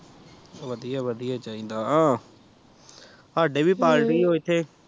ਵਧੀਆ ਵਧੀਆ ਚਾਹੀਦਾ ਸਾਡੇ ਵੀ ਪਾਰਟੀ ਏ ਇੱਥੇ